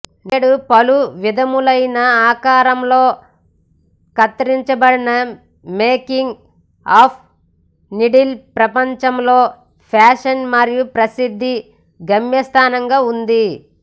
నేడు పలు విధములైన ఆకారంలో కత్తరించబడిన మేకింగ్ ఆఫ్ నీడిల్ ప్రపంచంలో ఫ్యాషన్ మరియు ప్రసిద్ధ గమ్యస్థానంగా ఉంది